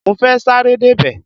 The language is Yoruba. Mo fẹ́ sáré débẹ̀.